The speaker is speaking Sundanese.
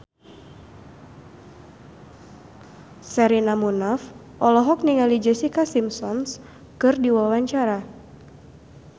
Sherina Munaf olohok ningali Jessica Simpson keur diwawancara